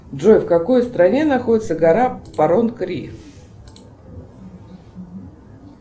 джой в какой стране находится гора парон кри